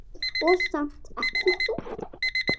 Og samt ekki þoka.